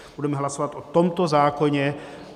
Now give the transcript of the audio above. Budeme hlasovat o tomto zákoně.